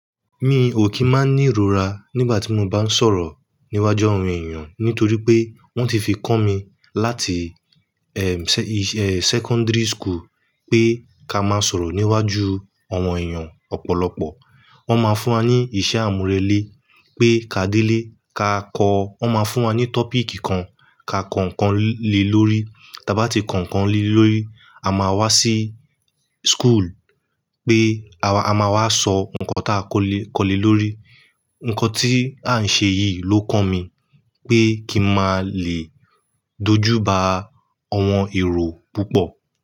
Mi ò kí máa ní ìrora nígbà tí mo bá ń sọ̀rọ̀ níwájú àwọn èèyàn nítorí pé wọ́n ti fi kọ́ mi láti secondary school pé ká máa sọ̀rọ̀ níwájú àwọn èèyàn ọ̀pọ̀lọpọ̀. Wọ́n máa fún wa ní iṣẹ́ àmúrelé pé ká délé ká kọ́. Wọ́n máa fún wa ní topic kan ká kọ̀ńkọ̀n le lórí. Tí a bá ti kọ̀ńkọ̀n le lórí, a máa wá sí school pé a máa wá sọ nnkan tá a kọ́ le lórí. Ǹkan tí à ń ṣe yìí ló kọ mí pé kí mi máa le dojú ba àwọn èrò púpọ̀.